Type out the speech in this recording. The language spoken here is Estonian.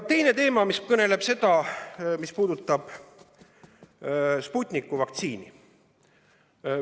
Teine teema puudutab Sputniku vaktsiini.